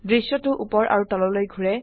দৃশ্যটো উপৰ আৰু তললৈ ঘোৰে